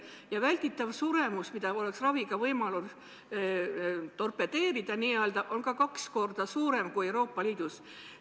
Ja välditav suremus, mida oleks raviga võimalus n-ö torpedeerida, on meil samuti kaks korda suurem kui Euroopa Liidus.